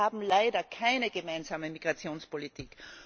Wir haben leider keine gemeinsame Migrationspolitik.